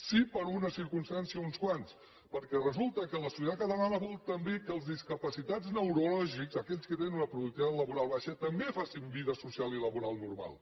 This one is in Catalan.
sí per una circumstància uns quants perquè resulta que la societat catalana vol també que els discapacitats neurològics aquells que tenen una productivitat laboral baixa també facin vida social i laboral normal